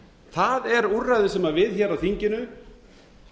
það er úrræðið sem við hér á þinginu